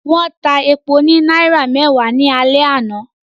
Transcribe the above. Wọ́n ta epo ní náírà mẹ́wàá ní alẹ́ àná